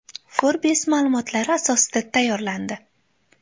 Forbes ma’lumotlari asosida tayyorlandi.